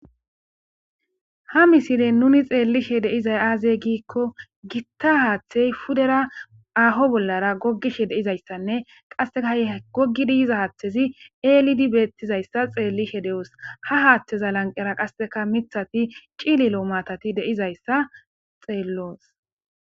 Ha misile nuni tsellishe de'iza aze gikko, gitta haathe pudera aho bollara goggishe de'iza issanne, qassika ha goggiza haathezi elidi bettiza issa tsellishe de'os. Ha haatheza lanqera qassika mittati cililo maatati de'iza tseellos.